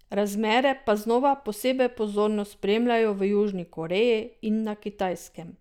Razmere pa znova posebej pozorno spremljajo v Južni Koreji in na Kitajskem.